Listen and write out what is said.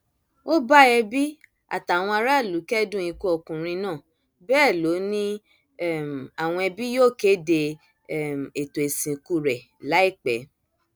ó bá ẹbí àtàwọn aráàlú kẹdùn ikú ọkùnrin náà bẹẹ lọ ni um àwọn ẹbí yóò kéde um ètò ìsìnkú rẹ láìpẹ